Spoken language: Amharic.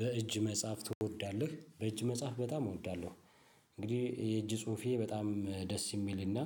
በእጅ መጻፍ ትወዳለህ? በእጅ መጻፍ በጣም እወዳለሁ። እንግዲህ የእጅ ጽሁፌ በጣም ደስ የሚልና